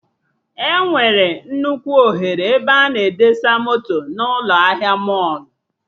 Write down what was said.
Enwere nnukwu oghere ebe a na-edesa moto na ụlọ ahịa mọlụ